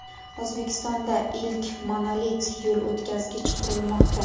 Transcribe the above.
O‘zbekistonda ilk monolit yo‘l o‘tkazgich qurilmoqda.